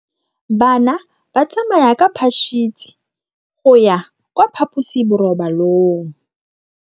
Bana ba tsamaya ka phašitshe go ya kwa phaposiborobalong.